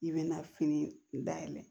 I bɛ na fini dayɛlɛ